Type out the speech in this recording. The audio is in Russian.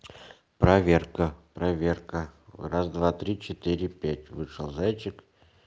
проверка проверка раз два три четыре пять вышел зайчик